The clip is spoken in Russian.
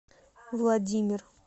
владимир